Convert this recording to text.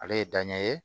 Ale ye danɲɛ ye